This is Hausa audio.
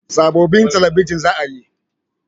Sabobbin talabijin za a yi